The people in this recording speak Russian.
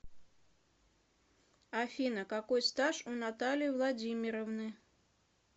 афина какой стаж у натальи владимировны